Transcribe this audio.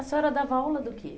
A senhora dava aula do quê?